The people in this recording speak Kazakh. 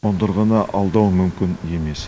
қондырғыны алдау мүмкін емес